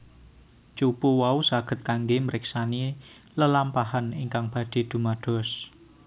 Cupu wau saged kanggé mriksani lelampahan ingkang badhé dumados